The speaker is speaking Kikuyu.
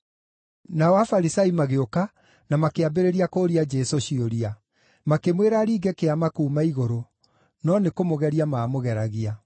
Nao Afarisai magĩũka na makĩambĩrĩria kũũria Jesũ ciũria. Makĩmwĩra aringe kĩama kuuma igũrũ no nĩkũmũgeria maamũgeragia.